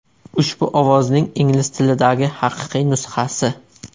Ushbu ovozning ingliz tilidagi haqiqiy nusxasi.